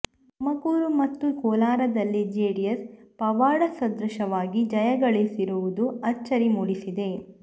ತುಮಕೂರು ಮತ್ತು ಕೋಲಾರದಲ್ಲಿ ಜೆಡಿಎಸ್ ಪವಾಡಸದೃಶವಾಗಿ ಜಯ ಗಳಿಸಿರುವುದು ಅಚ್ಚರಿ ಮೂಡಿಸಿದೆ